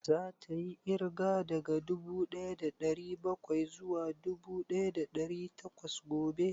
Za ta yi ƙirga daga dubu ɗaya da ɗari bakwai zuwa dubu ɗaya da ɗari takwas gobe?